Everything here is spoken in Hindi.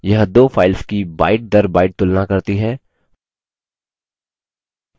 यह दो files की byteदरbyte तुलना करती है